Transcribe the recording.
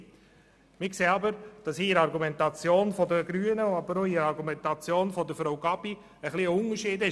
Wir sehen aber, dass zwischen der Argumentation der Grünen und der Argumentation von Frau Gabi ein Unterschied besteht.